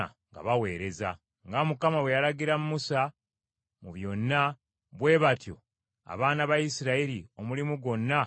Nga Mukama bwe yalagira Musa mu byonna, bwe batyo abaana ba Isirayiri omulimu gwonna bwe baagukola.